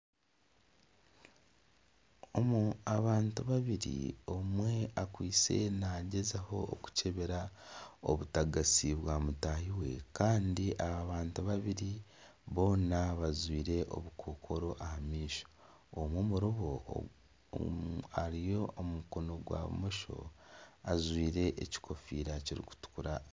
Abantu babiri omwe akwaitse naagyezaho okukyebera obutagatsi bwa mutaahi we. Kandi aha bantu babiri, boona bajwaire obukookoro aha maisho. Omwe omuri bo ari omu mukono gwa bumosho, ajwaire ekikofiira kirikutukura.